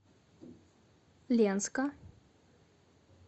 ленска